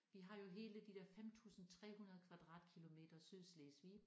Vi har jo hele de der 5300 kvadratkilometer Sydslesvig